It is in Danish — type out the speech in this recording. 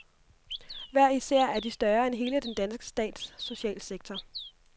Hver især er de større end hele den danske stats socialsektor.